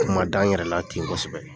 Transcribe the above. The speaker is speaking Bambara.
N kun ma da n yɛrɛlaten gosɛbɛ